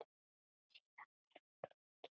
Síðan var hann rokinn.